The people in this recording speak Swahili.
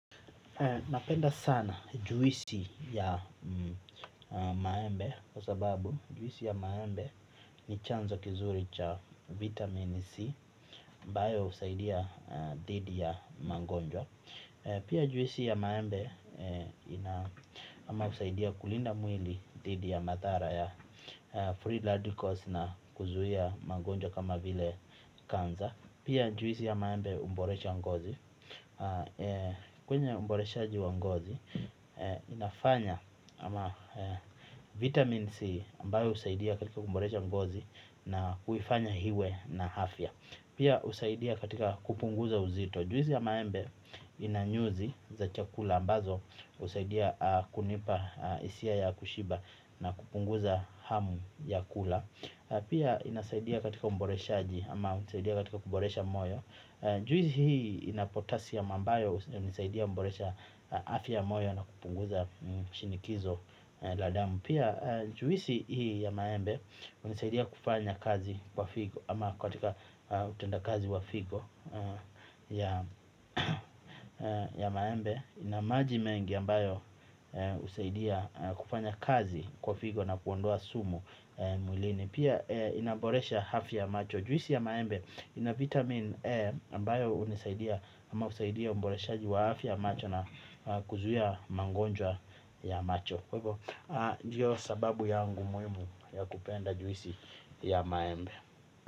Napenda sana juisi ya maembe kwa sababu juwisi ya maembe ni chanzo kizuri cha vitamin C Bayo usaidia dhidi ya mangonjwa. Pia juwisi ya maembe ama usaidia kulinda mwili dhidi ya matara ya free radicals na kuzuhia mangonjwa kama vile kanza. Pia juisi ya maembe umborecha ngozi. Kwenye uboreshaji wa ngozi inafanya ama vitamin C Ambayo usaidia katika kumboresha mgozi na kuifanya hiwe na afya. Pia usaidia katika kupunguza uzito. Juisi ya maembe inanyuzi za chakula ambazo usaidia kunipa isia ya kushiba na kupunguza hamu ya kula. Pia inasaidia katika umboreshaji ama usaidia katika kumboresha moyo. Njuisi hii inapotasi ya mambayo unisaidia mboresha hafi ya moyo na kupunguza shinikizo la damu. Pia njuisi hii ya maembe unisaidia kufanya kazi kwa figo ama katika utenda kazi wa figo ya maembe. Inamaji mengi ambayo usaidia kufanya kazi kwa figo na kuondoa sumu mwilini. Pia inamboresha hafya macho. Juisi ya maembe ina vitamin E Ambayo unisaidia ama usaidia umboreshaji wa hafya macho na kuzuia mangonjwa ya macho ndio sababu yangu muimu ya kupenda juisi ya maembe.